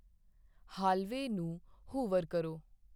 hallway ਨੂੰ hoover ਕਰੋ